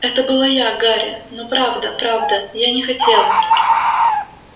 это была я гарри но правда правда я не хотела